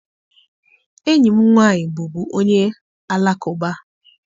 Enyi m nwaanyị bụbu onye alakụba.